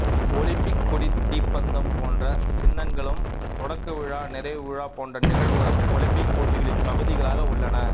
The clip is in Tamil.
ஒலிம்பிக் கொடி தீப்பந்தம் போன்ற சின்னங்களும் தொடக்கவிழா நிறைவுவிழா போன்ற நிகழ்வுகளும் ஒலிம்பிக் போட்டிகளின் பகுதிகளாக உள்ளன